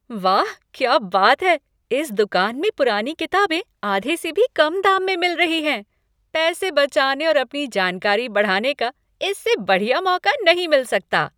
वाह, क्या बात है! इस दुकान में पुरानी किताबें आधे से भी कम दाम में मिल रही हैं। पैसे बचाने और अपनी जानकारी बढ़ाने का इससे बढ़िया मौका नहीं मिल सकता।